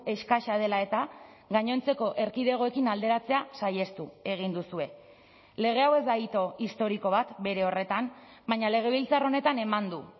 eskasa dela eta gainontzeko erkidegoekin alderatzea saihestu egin duzue lege hau ez da hito historiko bat bere horretan baina legebiltzar honetan eman du